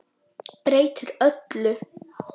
Breytir öllu.